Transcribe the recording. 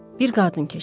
Bir qadın keçir.